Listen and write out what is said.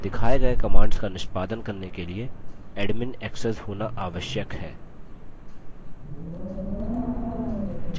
दिखाए गये commands का निष्पादन करने के लिए admin access होना आवश्यक है